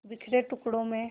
बिखरे टुकड़ों में